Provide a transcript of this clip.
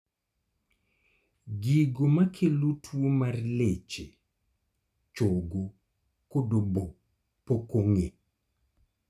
Gigo makelo tuo mar leche, chogo kod obo pok ong'e